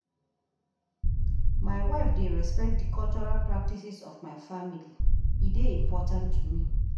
My wife dey respect di cultural practices of my family, e dey important to me.